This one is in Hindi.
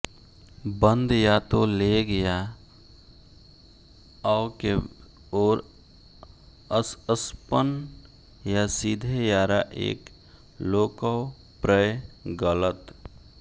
बंद या तो लेग या ओिॅ के ओर स्स्पन या सीधे यारा एक लोकवप्रय गलत